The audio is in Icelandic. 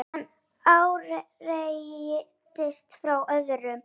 Án áreitis frá öðrum.